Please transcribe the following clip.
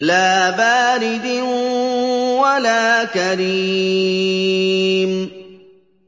لَّا بَارِدٍ وَلَا كَرِيمٍ